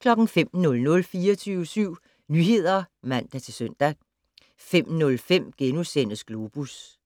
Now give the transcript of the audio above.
05:00: 24syv Nyheder (man-søn) 05:05: Globus